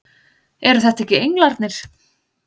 Eru þetta ekki englarnir!